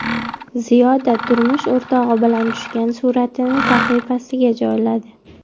Ziyoda turmush o‘rtog‘i bilan tushgan suratini sahifasiga joyladi.